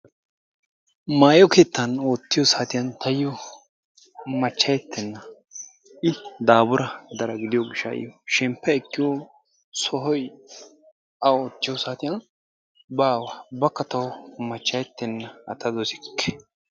Maayo keettan oottiyo saatiyan taayo machchayettenna I daafura daro gidiyo gishshayo shemppa ekkiyo sohoy a oottiyo saatiyan baawa ubbakka tawu machchayettenna a ta dossikke.